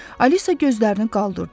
Alisa gözlərini qaldırdı.